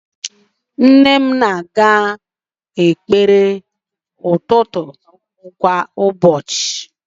Nne m na-aga ekpere ụtụtụ kwa ụbọchị